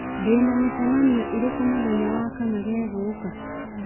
ndĩ na mĩcemanio ĩrĩkũ mũthenya wa kana gegũũka